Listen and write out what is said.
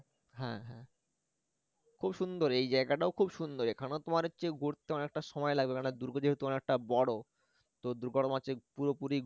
হ্যা হ্যা খুব সুন্দর এই জায়গাটাও খুব সুন্দর এখানে তোমার হচ্ছে ঘুরতে অনেকটা সময় লাগবে কেননা দূর্গ যেহেতু অনেকটা বড় তো দূর্গর মাঝে পুরোপুরি